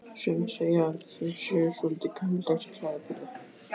Sumir segja að þau séu svolítið gamaldags í klæðaburði?